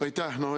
Aitäh!